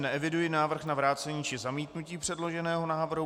Neeviduji návrh na vrácení či zamítnutí předloženého návrhu.